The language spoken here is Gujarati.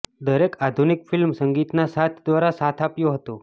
દરેક આધુનિક ફિલ્મ સંગીતના સાથ દ્વારા સાથ આપ્યો હતો